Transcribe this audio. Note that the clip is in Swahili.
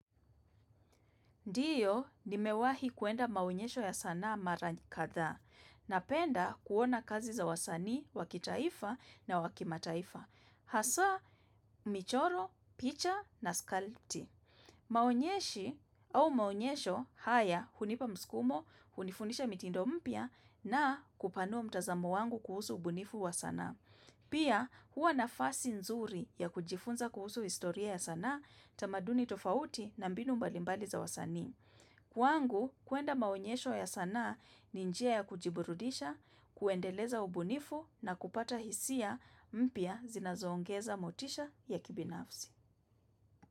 Ndio, nimewahi kwenda maonyesho ya sanaa mara kadhaa, na penda kuona kazi za wasanii, wa kitaifa na wa kimataifa. Hasa, michoro, picha na skalti. Maonyeshi au maonyesho haya hunipa mskumo, hunifundisha mitindo mpya, na kupanua mtazamo wangu kuhusu ubunifu wa sanaa. Pia, huwa nafasi nzuri ya kujifunza kuhusu historia ya sanaa tamaduni tofauti na mbinu mbalimbali za wasanii. Kwangu, kwenda maonyesho ya sanaa ni njia ya kujiburudisha, kuendeleza ubunifu na kupata hisia mpya zinazoongeza motisha ya kibinafsi.